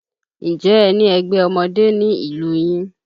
Ǹjẹ́ ẹ ní ẹgbẹ́ ọmọdé ní ìlú yín?